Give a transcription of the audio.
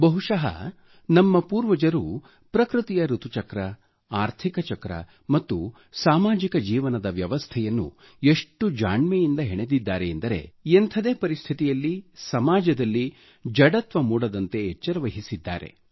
ಬಹುಶಃ ನಮ್ಮ ಪೂರ್ವಜರು ಋತು ಚಕ್ರ ಆರ್ಥಿಕ ಚಕ್ರ ಮತ್ತು ಸಾಮಾಜಿಕ ಜೀವನದ ವ್ಯವಸ್ಥೆಯನ್ನು ಎಷ್ಟು ಜಾಣ್ಮೆಯಿಂದ ಹೆಣೆದಿದ್ದಾರೆ ಎಂದರೆ ಎಂಥದೇ ಪರಿಸ್ಥಿತಿಯಲ್ಲಿ ಸಮಾಜದಲ್ಲಿ ಮಂದತೆ ಮೂಡದಂತೆ ಎಚ್ಚರವಹಿಸಿದ್ದಾರೆ